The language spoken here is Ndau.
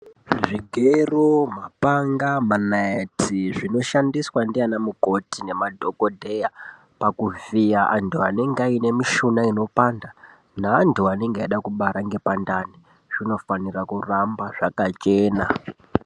Zvigero, mapanga, manaiti zvinoshandiswa ndiana mukoti nema dhokodheya, pakuvhiya antu anenge ane mishuna inopanda neantu anenge eida kubara ngepandani, zvinofanira kuramba zvakachena.